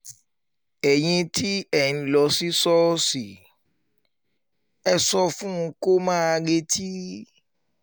ẹ̀yin tí ẹ̀ ẹ̀ ń lọ sí ṣọ́ọ̀ṣì ẹ̀ ẹ́ sọ fún un kó máa retí mi